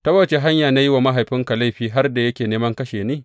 Ta wace hanya ce na yi wa mahaifinka laifi har da yake neman yă kashe ni?